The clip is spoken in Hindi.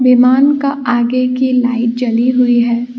विमान का आगे की लाइट जली हुई है।